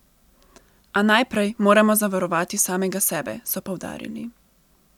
A najprej moramo zavarovati samega sebe, so poudarili.